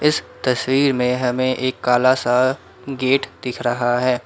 इस तस्वीर में हमें एक काला सा गेट दिख रहा है।